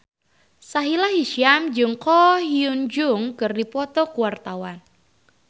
Sahila Hisyam jeung Ko Hyun Jung keur dipoto ku wartawan